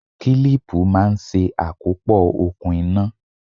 Kílípù máa ń ṣe àkópọ̀ okùn iná.